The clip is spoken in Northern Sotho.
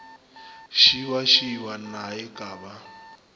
šibašiba na e ka ba